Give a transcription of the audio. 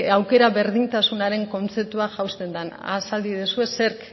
aukera berdintasunaren kontzeptua jausten den azal iezadazue zerk